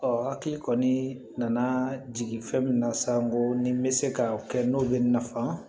Ɔ hakili kɔni nana jigin fɛn min na sa n ko ni n bɛ se ka o kɛ n'o bɛ nafan